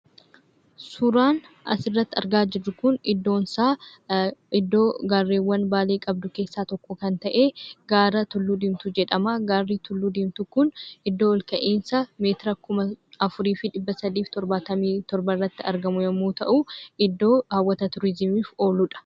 Suuraan asirratti argaa jirru kun iddoonsaa iddoo gaarreewwan baalee qabdu keessaa tokko kan ta'ee gaara Tulluu Diimtuu jedhamaa. Gaarri tulluu diimtuu kun iddoo olka'insa meetira 4377 irratti argamu yommuu ta'uu, iddoo hawwata turizimiif ooludha.